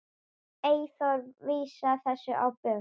Eyþór vísar þessu á bug.